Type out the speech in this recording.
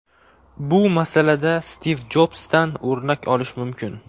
Bu masalada Stiv Jobsdan o‘rnak olish mumkin.